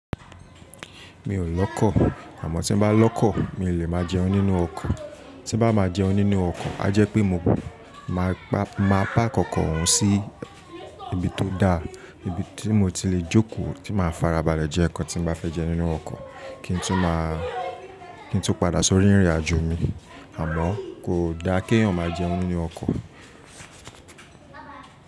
Mi ò lọ́kọ̀, àmọ́ tí n bá lọ́kọ̀ mi o lè máa jẹun nínú ọkọ̀. Tí bá máa jẹun nínú ọkọ̀, a jẹ́ pé mo máa párk ọ́kọ̀ òun sí ibi tó da, ibi tí mo ti le jókòó, tí màá farabalẹ̀ jẹ nkán tí n bá fẹ́ jẹ nínú ọkọ̀ kí n tó padà sórí ìrìn àjò mi. Àmọ́ kò da kí ènìyàn máa jẹun nínú ọkọ̀.